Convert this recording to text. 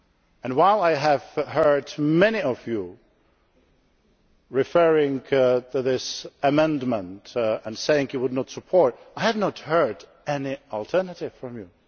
has come. And while I have heard many of you referring to this amendment and saying you would not support it, I have not heard any alternatives